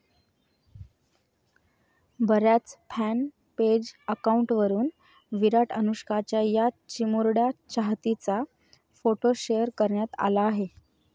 बऱ्याच fan page अकाऊंटवरुन विराट, अनुष्काच्या या चिमुरड्या चाहतीचा फोटो शेअर करण्यात आला आहे.